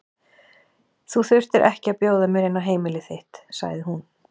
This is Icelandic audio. Þú þurftir ekki að bjóða mér inn á heimili þitt, sagði hún.